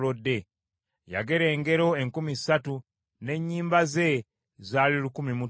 Yagera engero enkumi ssatu, n’ennyimba ze zaali lukumi mu ttaano.